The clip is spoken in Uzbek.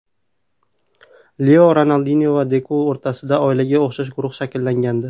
Leo, Ronaldinyo va Deku o‘rtasida oilaga o‘xshash guruh shakllangandi.